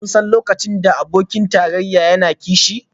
Kuna son lokacin da abokin tarayya yana kishi?